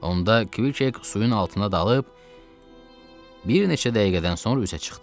Onda Kviket suyun altında dalıb bir neçə dəqiqədən sonra üzə çıxdı.